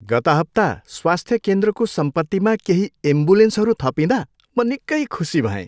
गत हप्ता स्वास्थ्य केन्द्रको सम्पत्तिमा केही एम्बुलेन्सहरू थपिँदा म निकै खुसी भएँ।